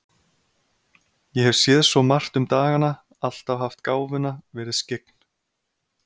Ég hef séð svo margt um dagana, alltaf haft gáfuna, verið skyggn.